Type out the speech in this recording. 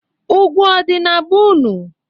Ụgwụ ọdị na be unu?